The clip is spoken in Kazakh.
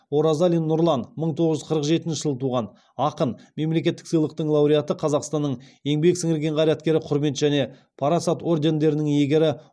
оразалин нұрлан мың тоғыз жүз қырық жетінші жылы туған ақын мемлекеттік сыйлықтың лауреаты қазақстанның еңбек сіңірген қайраткері құрмет және парасат ордендерінің иегері